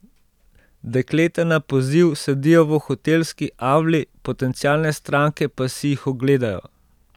Dekleta na poziv sedijo v hotelski avli, potencialne stranke pa si jih ogledajo.